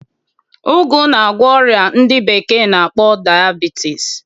Ụgụ na-agwọ ọrịa ndị bekee na-akpọ dayabitis